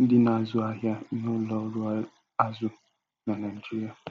ndị na-azu ahịa n'ụlọ ọrụ azụ na Naijiria.